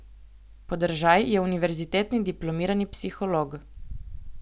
Podržaj je univerzitetni diplomirani psiholog.